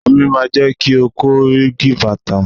Omi máa jẹ́ kí ọkọ́ gípatà.